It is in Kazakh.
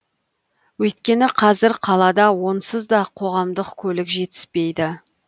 өйткені қазір қалада онсыз да қоғамдық көлік жетіспейді